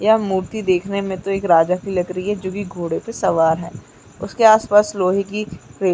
यह मुर्ति देखने में तो एक राजा की लग रही है जो की घोड़े पे सवार है उसके आस-पास लोहे की रे--